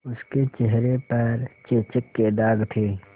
उसके चेहरे पर चेचक के दाग थे